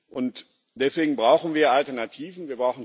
Und deswegen brauchen wir Alternativen.